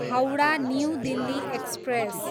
Howrah, new Delhi express